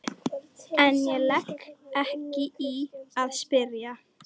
En ég legg ekki í að spyrja.